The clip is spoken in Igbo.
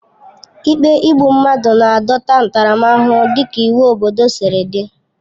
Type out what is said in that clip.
Ikpe igbu mmadụ na-adọta ntaramahụhụ dịka iwu obodo siri dị.